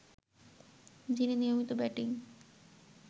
যিনি নিয়মিত ব্যাটিং